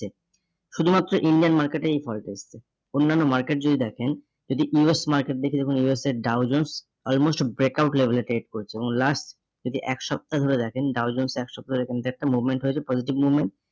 শুধুমাত্র Indian market এ এই fall টা এসছে। অন্যান্য market যদি দেখেন যেটি US market দেখে দেখুন US এর Dow Jones almost breakout level এ trade করছে এবং last যদি এক সপ্তাহ ধরে দেখেন Dow Jones এক সপ্তাহ দেখেন যে একটা movement হয়েছে positive movement